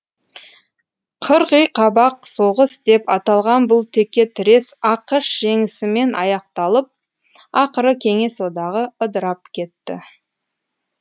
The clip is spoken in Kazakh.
қырғиқабақ соғыс деп аталған бұл текетірес ақш жеңісімен аяқталып ақыры кеңес одағы ыдырап кетті